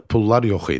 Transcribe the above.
pullar yox idi.